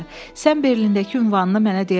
Sən Berindəki ünvanını mənə deyə bilərsən?